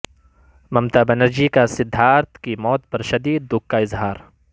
ممتا بنرجی کا سدھارتھ کی موت پر شدید دکھ کا اظہار